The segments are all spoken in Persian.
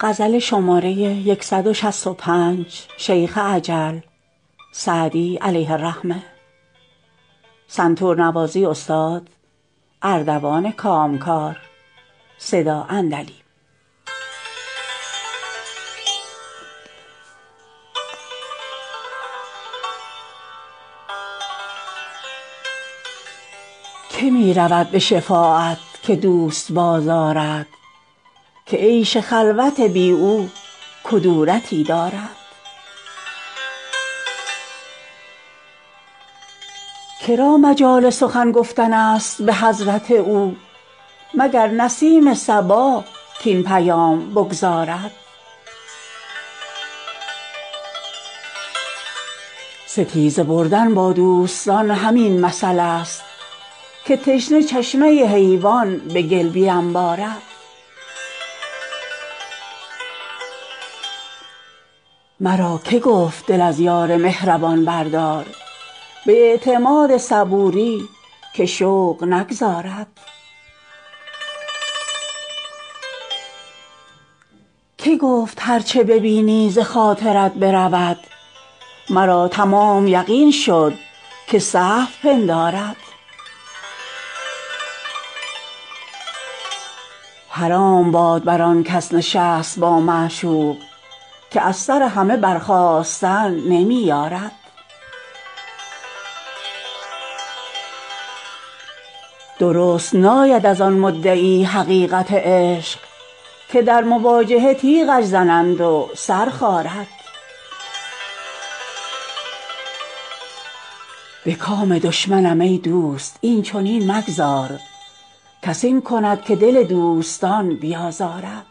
که می رود به شفاعت که دوست بازآرد که عیش خلوت بی او کدورتی دارد که را مجال سخن گفتن است به حضرت او مگر نسیم صبا کاین پیام بگزارد ستیزه بردن با دوستان همین مثلست که تشنه چشمه حیوان به گل بینبارد مرا که گفت دل از یار مهربان بردار به اعتماد صبوری که شوق نگذارد که گفت هر چه ببینی ز خاطرت برود مرا تمام یقین شد که سهو پندارد حرام باد بر آن کس نشست با معشوق که از سر همه برخاستن نمی یارد درست ناید از آن مدعی حقیقت عشق که در مواجهه تیغش زنند و سر خارد به کام دشمنم ای دوست این چنین مگذار کس این کند که دل دوستان بیازارد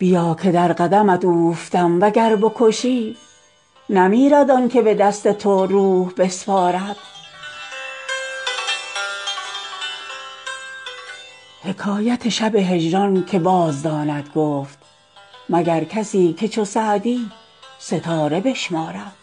بیا که در قدمت اوفتم و گر بکشی نمیرد آن که به دست تو روح بسپارد حکایت شب هجران که بازداند گفت مگر کسی که چو سعدی ستاره بشمارد